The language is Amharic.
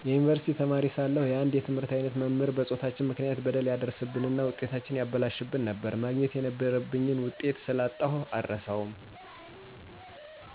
የዩኒቨርሲቲ ተማሪ ሳለሁ የአንድ የትምህርት አይነት መምህር በፆታችን ምክንያት በደል ያደርስብንና ውጤታችንን ያበላሽብን ነበር፣ ማግኘት የነበረብኝን ውጤት ስላጣሁ የአረሳውም።